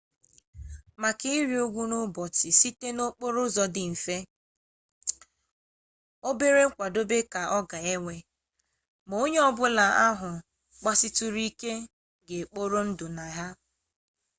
maka ịrị ugwu n'ụbọchị site n'okporo dị mfe obere nkwadobe ka ọ ga-ewe ma onye ọbụla ahụ gbasituru ike ga-ekpori ndụ na ha